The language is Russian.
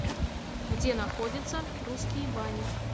где находится русские бани